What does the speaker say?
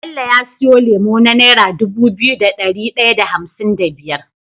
Bello ya siyo lemo na naira Dubu biyu da dari daya da hamsin da biyar